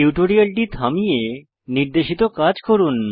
টিউটোরিয়ালটি থামিয়ে নির্দেশিত কাজ করুন